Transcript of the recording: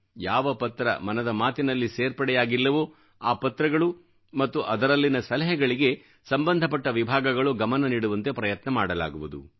ಯಾವ ಪತ್ರ ಮನದ ಮಾತಿನಲ್ಲಿ ಸೇರ್ಪಡೆಯಾಗಿಲ್ಲವೋ ಆ ಪತ್ರಗಳು ಮತ್ತು ಅದರಲ್ಲಿನ ಸಲಹೆಗಳಿಗೆ ಸಂಬಂಧಪಟ್ಟ ವಿಭಾಗಗಳು ಗಮನನೀಡುವಂತೆ ಪ್ರಯತ್ನ ಮಾಡಲಾಗುವುದು